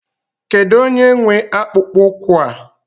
Kedụ onye nwe akpụkpọ ụkwụ a?